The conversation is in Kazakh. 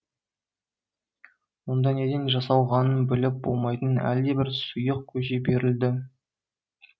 онда неден жасалғанын біліп болмайтын әлдебір сұйық көже берілді